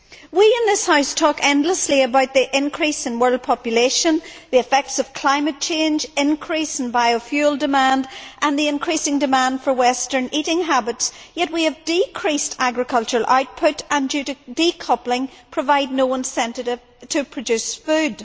We in this House talk endlessly about the increase in world population, the effects of climate change, increase in biofuel demand and the increasing demand for western eating habits, yet we have decreased agricultural output and, due to decoupling, provide no incentive to produce food.